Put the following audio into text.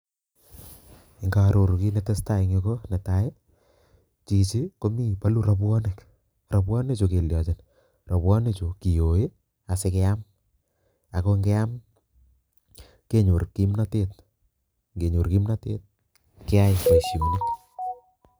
Nga aroru kiit netesetai eng yu, ko netai, chichi komi balu rapwonik, rapwonikchu keliochin? Rapwonichu kiyoi asikeam ako ngeam kenyor kimnotet, kenyor kimnotet keyai boisionik.